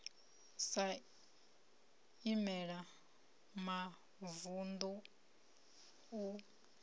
sa i imela mavunḓu u